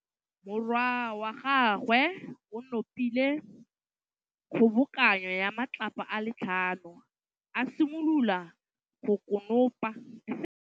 Morwa wa gagwe o nopile kgobokanô ya matlapa a le tlhano, a simolola go konopa.